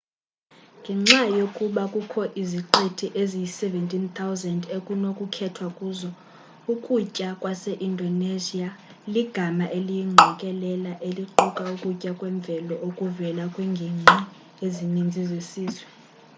ngenxa yokuba kukho iziqithi eziyi-17 000 ekunokukhethwa kuzo ukutya kwase-indonesia ligama eliyingqokelela eliquka ukutya kwemvelo okuvela kwiinginqi ezininzi zesizwe